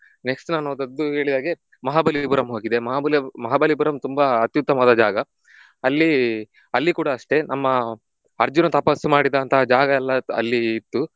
Next ನಾನು ಹೋದದ್ದು ಹೇಳಿದ ಹಾಗೆ ಮಹಾಬಲಿಪುರಂ ಹೋಗಿದೆ. ಮಹಾಬಲಿ~ ಮಹಾಬಲಿಪುರಂ ತುಂಬಾ ಉತ್ತಮವಾದ ಜಾಗ ಅಲ್ಲಿ ಅಲ್ಲಿ ಕೂಡ ಅಷ್ಟೇ ನಮ್ಮ ಅರ್ಜುನ ತಪಸ್ಸು ಮಾಡಿದಂತಹ ಜಾಗ ಎಲ್ಲ ಅಲ್ಲಿ ಇತ್ತು